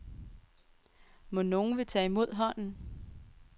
Mon nogen vil tage imod hånden?